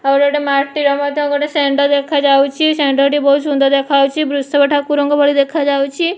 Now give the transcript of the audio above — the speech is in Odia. ଆହୁରି ଗୋଟେ ମାଟିର ମଧ୍ୟ ଗୋଟେ ଷେଣ୍ଢ ଦେଖାଯାଉଛି। ଷେଣ୍ଢଟି ବୋହୁତ ସୁନ୍ଦର ଦେଖାହୋଉଛି। ବୃଷଭ ଠାକୁରଙ୍କ ଭଳି ଦେଖାଯାଉଛି।